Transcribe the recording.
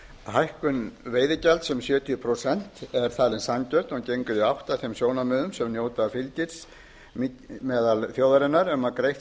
hækkun veiðigjalds um sjötíu prósent er talin sanngjörn og gengur í átt að þeim sjónarmiðum sem njóta fylgis meðal þjóðarinnar um að greitt